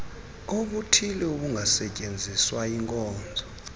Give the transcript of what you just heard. obuthile obungasetyenziswa yinkonzo